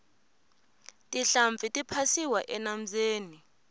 tinhlampfi ti phasiwa enambyeni